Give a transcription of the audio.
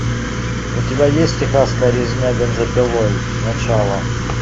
у тебя есть техасская резня бензопилой начало